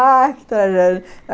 Ai, que tragédia.